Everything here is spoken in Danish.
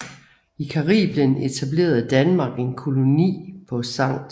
I Caribien etablerede Danmark en koloni på St